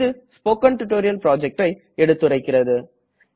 இது spoken tutorial projectஐ எடுத்துரைக்கிறது